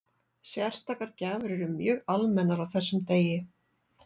Sérstakar gjafir eru mjög almennar á þessum degi.